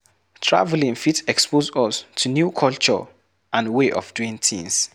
Travelling fit expose us to new culture and way of doing tins